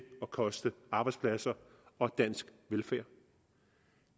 at koste arbejdspladser og dansk velfærd